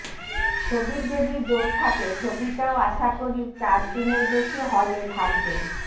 ছবির যদি জোর থাকে ছবিটাও আশা করি চার দিনের বেশি হলে থাকবে